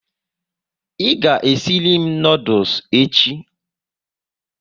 I ga esiri m noodules echi?